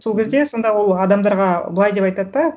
сол кезде сонда ол адамдарға былай деп айтады да